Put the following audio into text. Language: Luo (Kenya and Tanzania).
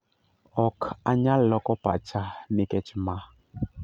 "Ok anyal loko pacha nikech ma.